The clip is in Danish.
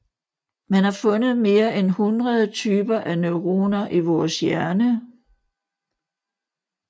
Man har fundet mere end hundrede typer af neuroner i vores hjerne